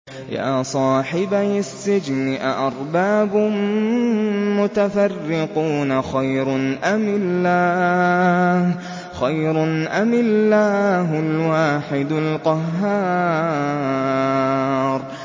يَا صَاحِبَيِ السِّجْنِ أَأَرْبَابٌ مُّتَفَرِّقُونَ خَيْرٌ أَمِ اللَّهُ الْوَاحِدُ الْقَهَّارُ